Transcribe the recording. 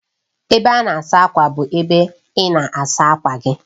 Ebe a na-asa ákwà bụ ebe ị na-asa akwa gị